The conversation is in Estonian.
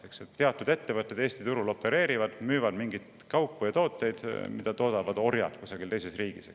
Eesti turul opereerivad teatud ettevõtted, kes müüvad mingeid kaupu või tooteid, mida toodavad orjad kusagil teises riigis.